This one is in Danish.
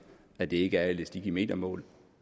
at det ikke bliver elastik i metermål